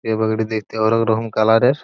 এই পাখিটি দেখতে অনেকরকম কালার -এর।